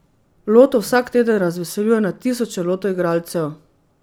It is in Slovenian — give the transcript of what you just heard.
Loto vsak teden razveseljuje na tisoče Loto igralcev.